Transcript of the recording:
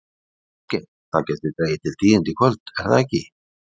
Ásgeir, það gæti dregið til tíðinda í kvöld, er það ekki?